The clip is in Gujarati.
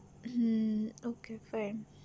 hmm okay fine